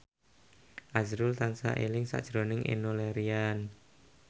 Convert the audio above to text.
azrul tansah eling sakjroning Enno Lerian